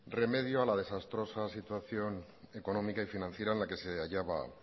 remedio a la desastrosa situación económica y financiera en la que se hallaba